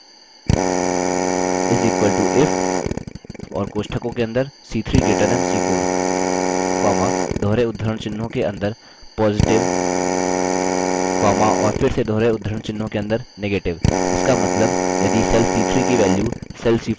is equal to if और कोष्टकों के अंदर c3 greater than c4 comma दोहरे उद्धरण चिह्नों के अंदर positive comma और फिर से दोहरे उद्धरण चिह्नों के अंदर negative